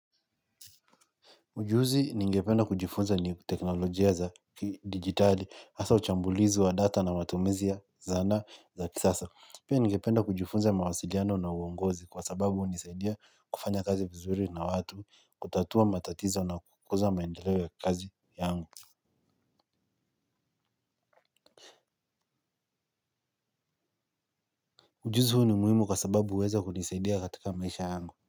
Ujuzi ningependa kujifunza ni teknolojia za kidijitali hasa uchambulizi wa data na matumizi ya zana za kisasa. Pia ningependa kujifunza mawasiliano na uongozi kwa sababu hunisaidia kufanya kazi vizuri na watu, kutatua matatizo na kukuza maendeleo ya kazi yangu. Ujuzi huu ni muhimu kwa sababu huweza kunisaidia katika maisha yangu.